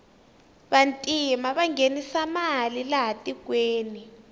vantima vanghenisa mali laha tikweni